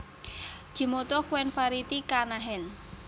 Jimoto Ouen Variety Kana Hen